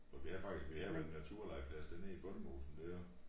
Og vi havde faktisk vi havde jo en naturlegeplads dernede i bondemosen dér